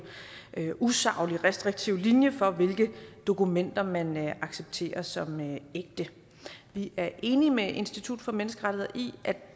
en usaglig og restriktiv linje for hvilke dokumenter man accepterer som ægte vi er enige med institut for menneskerettigheder i at